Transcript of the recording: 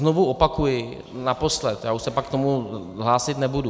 Znovu opakuji, naposledy, já už se pak k tomu hlásit nebudu.